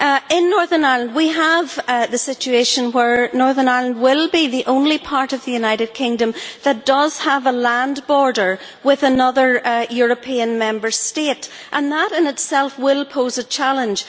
In Northern Ireland we have a situation where Northern Ireland will be the only part of the United Kingdom that does have a land border with another European Member State, and that in itself will pose a challenge.